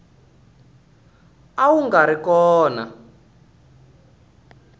a wu nga ri kona